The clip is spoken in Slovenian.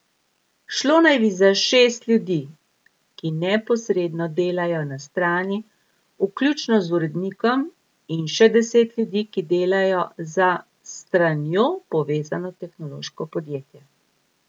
Šlo naj bi za šest ljudi, ki neposredno delajo na strani, vključno z urednikom, in še deset ljudi, ki delajo za s stranjo povezano tehnološko podjetje.